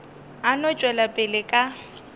a no tšwela pele ka